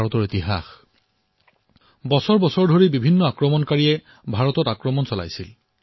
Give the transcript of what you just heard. শতাধিক বৰ্ষ পৰ্যন্ত বিভিন্ন আক্ৰমণকাৰীয়ে ভাৰতত আক্ৰমণ কৰিছিল